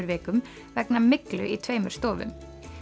vikum vegna myglu í tveimur stofum